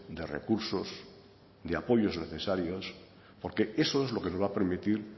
de recursos de apoyos necesarios porque eso es lo que nos va a permitir